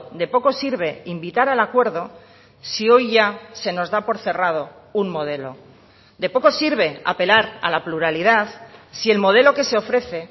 de poco sirve invitar al acuerdo si hoy ya se nos da por cerrado un modelo de poco sirve apelar a la pluralidad si el modelo que se ofrece